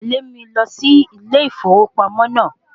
Tẹ̀lẹ́ mi lọ sí ilé ìfowópamọ́ naa